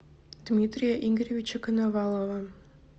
дмитрия игоревича коновалова